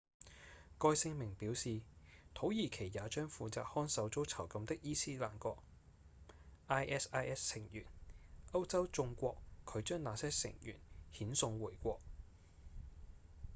該聲明表示土耳其也將負責看守遭囚禁的伊斯蘭國 isis 成員歐洲眾國拒將那些成員遣送回國